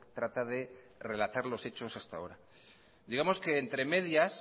trata de relatar los hechos hasta ahora digamos que entre medias